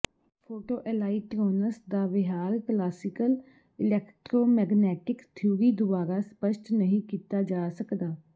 photo electrons ਦਾ ਵਿਹਾਰ classical electromagnetic theory ਦੁਆਰਾ ਸਪਸ਼ਟ ਨਹੀਂ ਕੀਤਾ ਜਾ ਸਕਦਾ